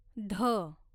ध